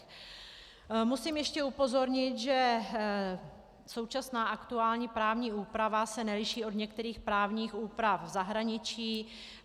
Musím ještě upozornit, že současná, aktuální právní úprava se neliší od některých právních úprav v zahraničí.